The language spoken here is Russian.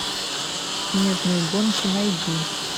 снежные гонки найди